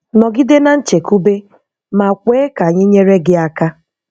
Nọgide na nchekube ma kwe ka anyị nyere gị aka.